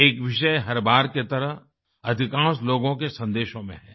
एक विषय हर बार की तरह अधिकांश लोगो के संदेशो में हैं